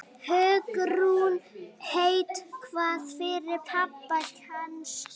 Hugrún: Eitthvað fyrir pabba kannski?